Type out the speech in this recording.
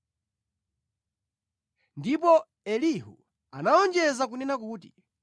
Ndipo Elihu anawonjeza kunena kuti,